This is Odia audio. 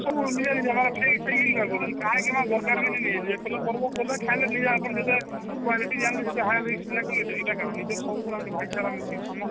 ସବୁ ନିଜ ନିଜ ମାନେ ସେଇ ସେଇ ଦରକାର ବି ନାଇଁ ନିଜେ ନିଜେ କଲେ ପର୍ବ ଖାଇଲେ କଲେ ନିଜେ ଆପଣ ହେଇଟା କାଣା ନିଜର ଗୁଟେ ଭାଇଚାରା ମିସିକି ସମସ୍ତେ